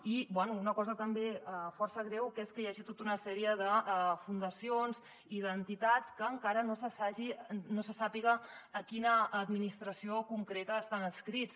i bé una cosa també força greu que és que hi hagi tota una sèrie de fundacions i d’entitats que encara no se sàpiga a quina administració concreta estan adscrites